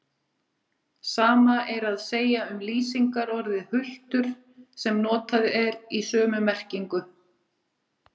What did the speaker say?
Sama er að segja um lýsingarorðið hultur sem notað er í sömu merkingu.